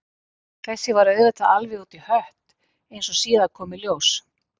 Þetta var auðvitað alveg út í hött, eins og síðar kom í ljós.